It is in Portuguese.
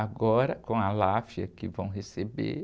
Agora, com a que vão receber,